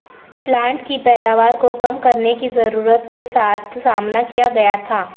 plant کی پیداوار کو کم کرنے کی ضرورت کے ساتھ سامنا کیا گیا تھا